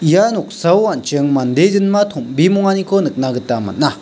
ia noksao an·ching mande jinma tom·bimonganiko nikna gita man·a.